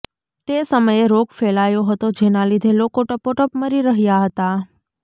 તે સમયે રોગ ફેલાયો હતો જેના લીધે લોકો ટપોટપ મરી રહ્યાં હતાં